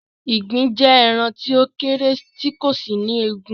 Ìgbín jẹ́ ẹran tí ó kéré tì kò sì ní egun